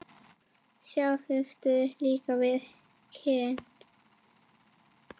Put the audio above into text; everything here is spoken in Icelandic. Síðustu kinn við kinn.